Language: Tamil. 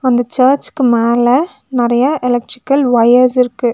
அந்த சர்ச்சுக்கு மேல நெறைய எலக்ட்ரிக்கல் வொயர்ஸ் இருக்கு.